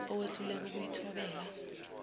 owehluleka ukuyi thobela